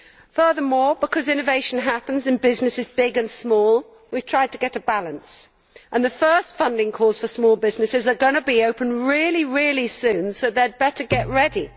Furthermore, because innovation happens in businesses big and small, we have tried to get a balance, and the first funding calls for small businesses are going to be open really soon, so they had better get ready.